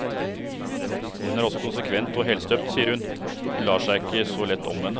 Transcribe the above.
Hun er også konsekvent og helstøpt, sier hun, hun lar seg ikke så lett omvende.